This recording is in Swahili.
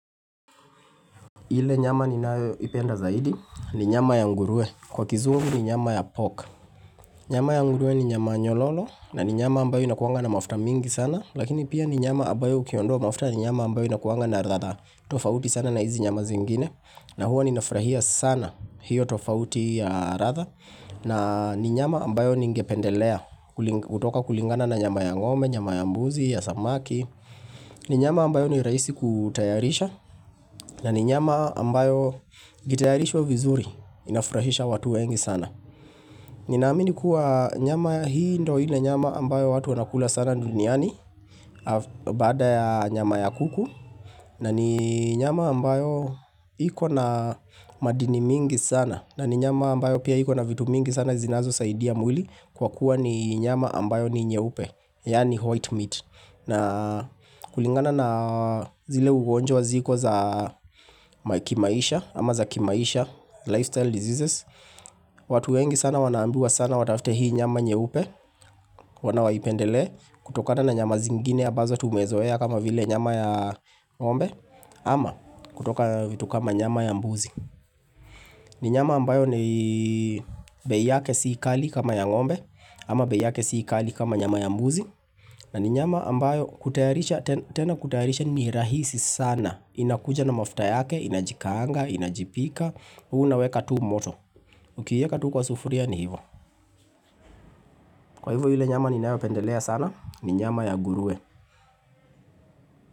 Ile nyama ninayoipenda zaidi, ni nyama ya ngurue. Kwa kizungu ni nyama ya pork. Nyama ya ngurue ni nyama nyololo, na ni nyama ambayo inakuanga na mafuta mingi sana. Lakini pia ni nyama ambayo ukiondoa mafuta ni nyama ambayo inakuanga na latha tofauti sana na hizi nyama zingine. Na huo ninafurahia sana hiyo tofauti ya ratha. Na ni nyama ambayo ningependelea kuli kutoka kulingana na nyama ya ngome, nyama ya mbuzi, ya samaki ni nyama ambayo ni rahisi ku tayarisha na ni nyama ambayo gitayarishwa vizuri, inafurahisha watu wengi sana. Ninaamini kuwa nyama hii ndo ile nyama ambayo watu wanakula sana nduniani. Af bada ya nyama ya kuku na ni nyama ambayo iko na madini mingi sana. Na ni nyama ambayo pia iko na vitu mingi sana zinazosaidia mwili, kwa kuwa ni nyama ambayo ni nyeupe. Yaani white meat. Na kulingana na zile ugonjwa ziko za ma kimaisha ama za kimaisha, lifestyle diseases, watu wengi sana wanaambiwa sana watafte hii nyama nyeupe. Mbona waipendelee, kutokana na nyama zingine abazo tumezoea kama vile nyama ya ngombe, ama, kutoka vitu kama nyama ya mbuzi. Ni nyama ambayo ni bei yake si kali kama ya ngombe, ama bei yake si kali kama nyama ya mbuzi na ni nyama ambayo kutayarisha, ten tena kutayarisha ni rahisi sana. Inakuja na mafta yake, inajikaanga, inajipika, huu unaweka tu moto. Ukiieka tu kwa sufuria ni hivo Kwa hivo ile nyama ninayopendelea sana, ni nyama ya gurue.